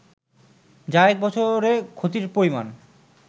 যা এক বছরে ক্ষতির পরিমাণ